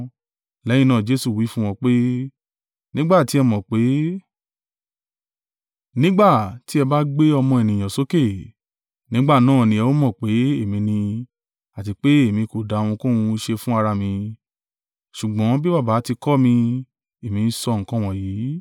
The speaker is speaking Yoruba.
Lẹ́yìn náà Jesu wí fún wọn pé, “Nígbà tí ẹ mọ̀ pé, nígbà tí ẹ bá gbé Ọmọ Ènìyàn sókè, nígbà náà ni ẹ ó mọ̀ pé èmi ni àti pé èmi kò dá ohunkóhun ṣe fún ara mi, ṣùgbọ́n bí Baba ti kọ́ mi, èmí ń sọ nǹkan wọ̀nyí.